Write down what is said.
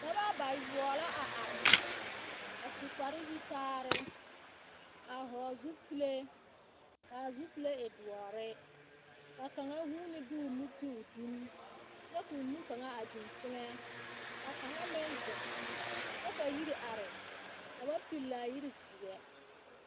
Noba bayoɔbo la a area su kapre yitaare, a hɔgele zupile ka a zupile e doɔre ka kaŋa huuni de o nu ti o duni kyɛ ka o nu kaŋa a biŋ teŋɛ. Ka kaŋa meŋ zeŋ kyɛ ka yiri are ka ba pilli a yiri zeɛ.